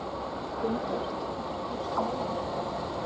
Gunnbjört, ekki fórstu með þeim?